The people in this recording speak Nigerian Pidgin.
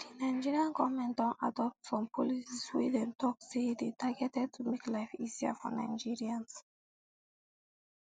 di nigerian goment don adopt some policies wey dem tok say dey targeted to make life easier for nigerians